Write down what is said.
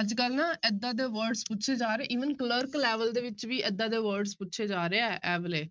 ਅੱਜ ਕੱਲ੍ਹ ਨਾ ਏਦਾਂ ਦੇ word ਪੁੱਛੇ ਜਾ ਰਹੇ even ਕਲਰਕ level ਦੇ ਵਿੱਚ ਵੀ ਏਦਾਂ ਦੇ words ਪੁੱਛੇ ਜਾ ਰਹੇ ਹੈ ਇਹ ਵਾਲੇ।